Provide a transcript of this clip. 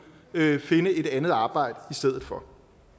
finde et andet arbejdet i stedet for